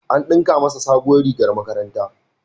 An ɗinka masa sabuwar rigar makaranta.